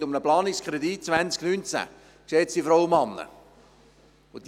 Es geht um den Planungskredit 2019, geschätzte Frauen und Männer!